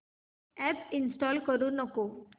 app install करू नको